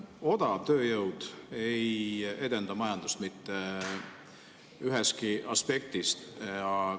Odav tööjõud ei edenda majandust mitte ühestki aspektist.